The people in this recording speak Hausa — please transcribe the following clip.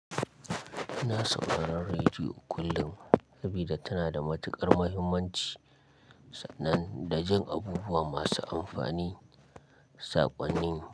Na saurari rediyo kullum, sabida tana da matuƙar muhimmanci, sannan da jan abubuwa masu amfani saƙonnin.